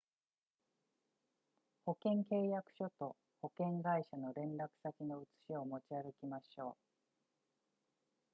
保険契約書と保険会社の連絡先の写しを持ち歩きましょう